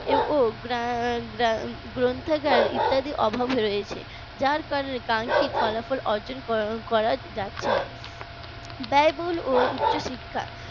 ও গ্রন্থাগার ইত্যাদির অভাব রয়েছে যার কারণে কাঙ্খিত ফলাফল অর্জন করা যাচ্ছে না ব্যয়বহুল উচ্চশিক্ষা